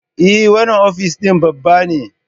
Eh, wannan ofis din babba ne